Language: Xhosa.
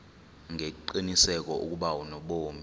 ngengqiniseko ukuba unobomi